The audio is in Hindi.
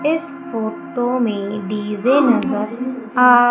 इस फोटो मे डी_जे नज़र आ--